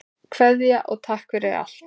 Kveðja og takk fyrir allt.